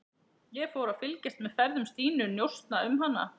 Ég fór að fylgjast með ferðum Stínu, njósna um hana.